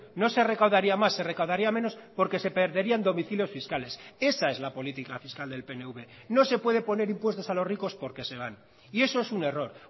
no se recaudaría más se recaudaría menos porque se perderían domicilios fiscales esa es la política fiscal del pnv no se puede poner impuestos a los ricos porque se van y eso es un error